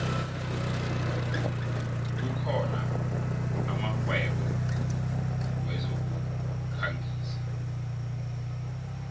kukhona amakghwebo wezokukhangisa